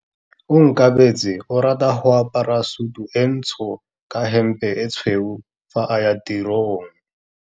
Onkabetse o rata go apara sutu e ntsho ka hempe e tshweu fa a ya tirong.